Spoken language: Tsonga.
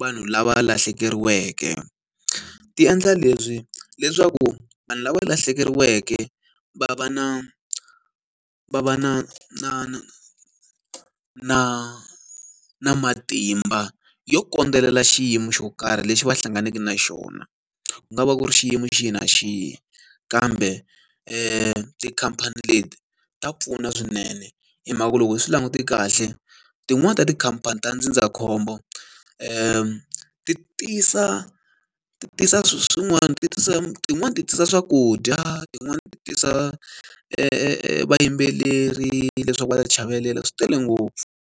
vanhu lava lahlekeriweke. Ti endla lebyi leswaku vanhu lava lahlekeriweke, va va na va va na na na na na matimba yo kondzelela xiyimo xo karhi lexi va hlanganeke na xona. Ku nga va ku ri xiyimo xi na xihi, kambe tikhamphani leti ta pfuna swinene. Hi mhaka ku loko hi swi langute kahle, tin'wani ta tikhamphani ta ndzindzakhombo ti tisa ti tisa swilo swin'wana tisa tin'wani ti tisa swakudya, tin'wani ti tisa vayimbeleri leswaku va ta chavelela swi tele ngopfu.